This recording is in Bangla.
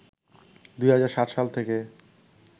“২০০৭ সাল থেকে